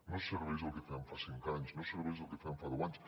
no serveix el que fèiem fa cinc anys no serveix el que fèiem fa deu anys